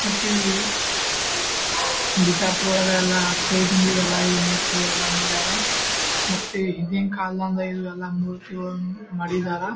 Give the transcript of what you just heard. ಮತ್ತ ಈ ಬಿಜಾಪುರ ಒಳಗೆಲ್ಲಾ ಕೈದಿಂದೆಲ್ಲಾ ಇಲ್ಲಿ ಮೂರ್ತಿಗೊಲ್ಲೆಲ್ಲ ಮಾಡ್ಯಾರ ಮತ್ತೆ ಹಿಂದಿನ್ ಕಾಲದಂಗ್ ಇಲ್ಲೆಲ್ಲಾ ಮೂರ್ತಿಗಳನ್ನು ಮಾಡಿದರ್ .